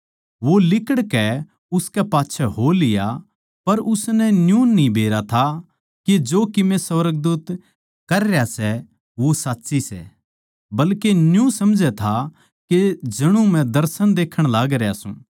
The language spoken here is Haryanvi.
वो लिकड़कै उसकै पाच्छै हो लिया पर उसनै न्यू न्ही बेरा था के जो कीमे सुर्गदूत कर रह्या सै वो साच्ची सै बल्के न्यू समझै था के जणु मै दर्शन देखण लागरया सूं